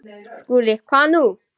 SKÚLI: Hvað nú?